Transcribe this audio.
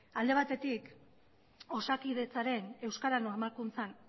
alde batetik osakidetzaren euskara normalkuntzan